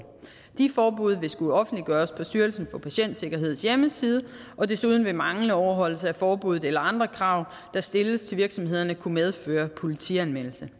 de forbud vil skulle offentliggøres på styrelsen for patientsikkerheds hjemmeside og desuden vil manglende overholdelse af forbuddet eller andre krav der stilles til virksomhederne kunne medføre politianmeldelse